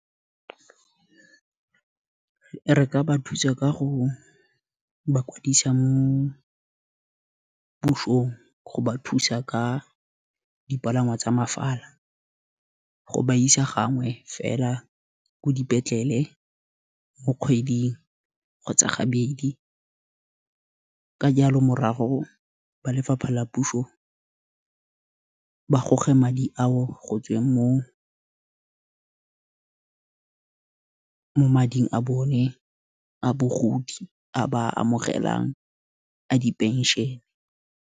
Re ka ba thusa ka go bakwadisi mo pusong, go ba thusa ka dipalangwa tsa mafala, go ba isa gangwe fela ko dipetlele mo kgweding, kgotsa gabedi, ka jalo morago ba lefapha la puso, ba goge madi ao go tsweng mo mading a bone, a bogodi, a ba a amogelang a di pension-e.